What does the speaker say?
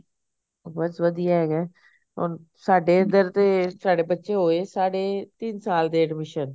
ਬੱਸ ਵਧੀਆ ਹੈਗਾ ਹੁਣ ਸਾਡੇ ਇਧਰ ਤੇ ਸਾਡੇ ਬੱਚੇ ਹੋਏ ਸਾਡੇ ਤਿੰਨ ਸਾਲ ਦੇ admission